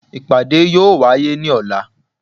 ipáde yóò waye ní ola